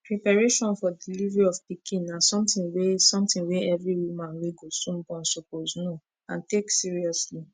preparation for delivery of pikin na something wey something wey every woman wey go soon born suppose know and take seriously